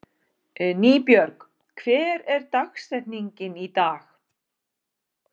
Nýbjörg, hver er dagsetningin í dag?